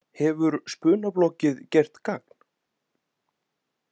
Hefur spunabloggið gert gagn?